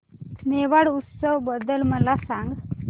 मेवाड उत्सव बद्दल मला सांग